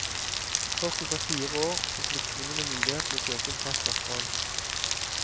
Først etter fire år får flyktningene mulighet til å søke om fast opphold.